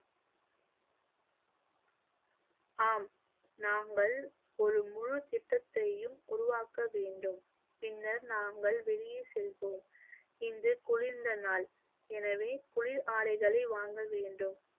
ஆம் நாங்கள் ஒரு முழு திட்டத்தையும் உருவாக்க வேண்டும், பின்னர் நாங்கள் வெளியே செல்வோம், இன்று குளிர்ந்த நாள் எனவே குளிர் ஆடைகளை வாங்க வேண்டும்